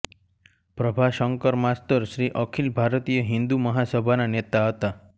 પ્રભાશંકર માસ્તર શ્રી અખિલ ભારતીય હિન્દુ મહાસભાના નેતા હતા